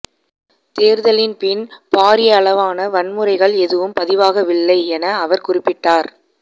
தேர்தலின் பின் பாரியளவான வன்முறைகள் எதுவும் பதிவாகவில்லை என அவர் குறிப்பிட்டார்